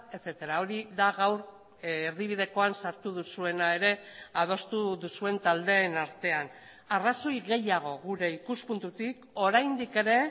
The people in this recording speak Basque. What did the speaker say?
etcétera hori da gaur erdibidekoan sartu duzuena ere adostu duzuen taldeen artean arrazoi gehiago gure ikuspuntutik oraindik ere